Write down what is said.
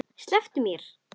Slepptu mér!